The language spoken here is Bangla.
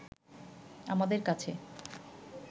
আমাদের কাছে